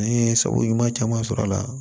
An ye sago ɲuman caman sɔrɔ a la